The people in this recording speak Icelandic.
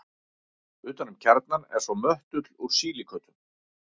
Utan um kjarnann er svo möttull úr sílíkötum.